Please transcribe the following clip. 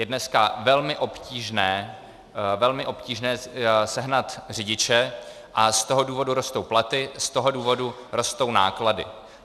Je dneska velmi obtížné, velmi obtížné sehnat řidiče, a z toho důvodu rostou platy, z toho důvodu rostou náklady.